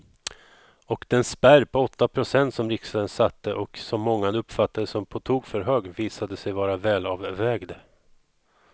Och den spärr på åtta procent som riksdagen satte och som många uppfattade som på tok för hög visade sig vara välavvägd.